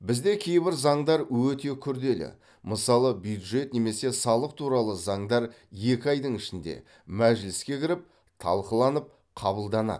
бізде кейбір заңдар өте күрделі мысалы бюджет немесе салық туралы заңдар екі айдың ішінде мәжіліске кіріп талқыланып қабылданады